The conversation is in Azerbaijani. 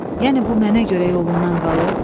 Yəni bu mənə görə yolundan qalıb?